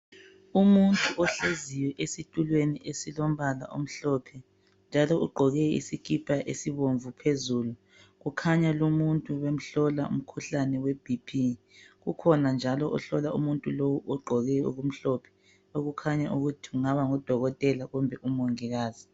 Umuntu ohleziyo esitulweni esilombala omhlophe njalo ugqoke isikipa esibomvu phezulu. Kukhanya lumuntu ubemhlola umkhuhlane weBP. Kukhona njalo ohlola umuntu lowu ogqoke okumhlophe okukhanya ukuthi kungaba ngudokotela kumbe umongikazi.